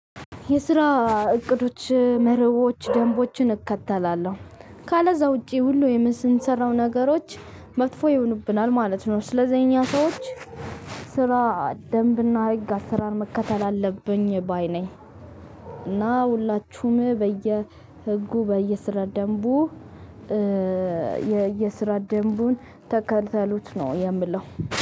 የስራ እቅዶች መርሆች ደንቦችን እከተላለሁ ካለዛ ውጪ ሁሉ የምንሰራው ነገሮች መጥፎ ይሆኑብናል ማለት ነው። ስለዚህ እኛ ሰዎች ስራ ደንብና ህግ አሰራር መከተል አለብኝ ባይ ነኝ እና ሁላችሁም በየ ህጉ በየስራ ደንቡ የየስራ ደንቡን ተከልተሉት ነው የምለው።